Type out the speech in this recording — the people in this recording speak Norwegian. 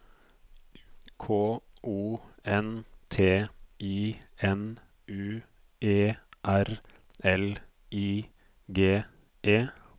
K O N T I N U E R L I G E